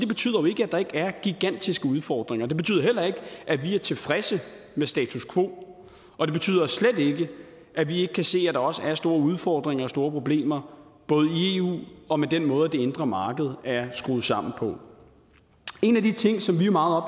at der ikke er gigantiske udfordringer det betyder heller ikke at vi er tilfredse med status quo og det betyder slet ikke at vi ikke kan se at der også er store udfordringer og store problemer både i eu og med den måde det indre marked er skruet sammen på en af de ting som vi er meget